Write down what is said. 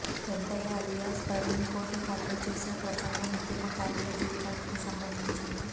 Pentaiah alias Praveen court హాలులో చేసిన ప్రసంగం ఉద్యమకారుల జీవితానికి సంబంధించినది